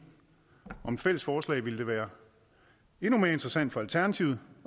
om et fælles forslag ville det være endnu mere interessant for alternativet